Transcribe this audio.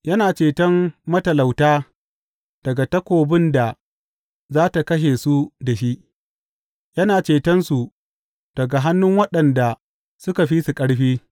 Yana ceton matalauta daga takobin da za tă kashe su da shi; yana cetonsu daga hannun waɗanda suka fi su ƙarfi.